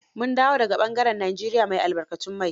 Mun dawo da ga ɓangaren Nigeria mai albarkatun mai.